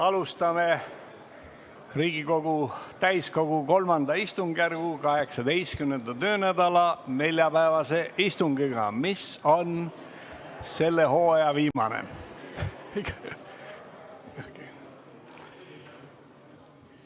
Alustame Riigikogu täiskogu III istungjärgu 18. töönädala neljapäevast istungit, mis on selle hooaja viimane.